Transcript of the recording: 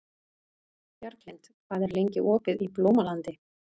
Bjarglind, hvað er lengi opið í Blómalandi?